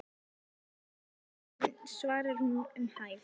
Við sjáum til, góurinn, svarar hún um hæl.